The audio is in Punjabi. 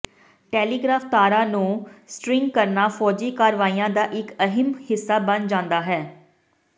ਟੈਲੀਗ੍ਰਾਫ ਤਾਰਾਂ ਨੂੰ ਸਟਰਿੰਗ ਕਰਨਾ ਫੌਜੀ ਕਾਰਵਾਈਆਂ ਦਾ ਇਕ ਅਹਿਮ ਹਿੱਸਾ ਬਣ ਜਾਂਦਾ ਹੈ